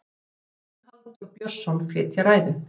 þá mun halldór björnsson flytja ræðu